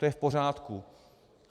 To je v pořádku.